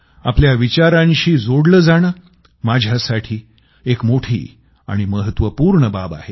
आपल्या विचारांशी जोडलं जाणं माझ्यासाठी एक मोठी आणि महत्वपूर्ण बाब आहे